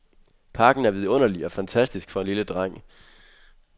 Parken er vidunderlig og fantastisk for en lille dreng.